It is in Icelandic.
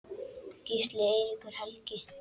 Gísli Eiríkur Helgi.